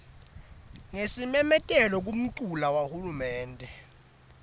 ngesimemetelo kumculu wahulumende